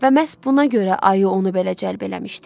Və məhz buna görə ayı onu belə cəlb eləmişdi.